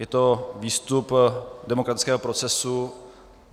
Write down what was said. Je to výstup demokratického procesu.